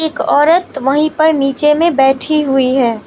एक औरत वहीं पर नीचे में बैठी हुई है।